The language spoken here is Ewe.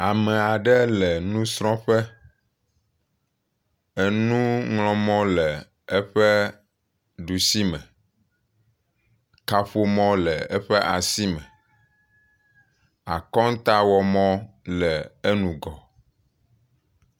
Ame aɖe le nusrɔ̃ƒe. Enuŋlɔ̃mɔ le eƒe ɖusime. Kaƒomɔ le eƒe asi me. Akɔntawɔ mɔ le enugɔ.